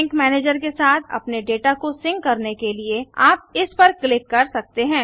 sink manager के साथ अपने डेटा को सिंक करने के लिए आप इस पर क्लिक कर सकते हैं